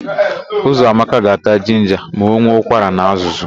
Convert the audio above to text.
Ụzọamaka ga-ata jinja ma ọ nwee ụkwara na azụzụ.